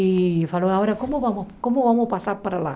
E falou, agora como vamos como vamos passar para lá?